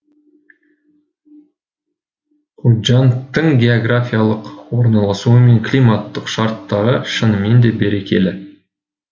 худжандтың географиялық орналасуы мен климаттық шарттары шынымен де берекелі